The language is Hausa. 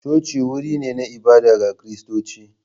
Coci wuri ne na ibada ga Kiristoci.